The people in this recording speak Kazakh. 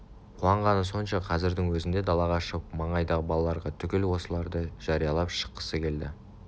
қуанғаны сонша қазірдің өзінде далаға шығып маңайдағы балаларға түгел осыларды жариялап шыққысы келді